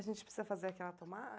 A gente precisa fazer aquela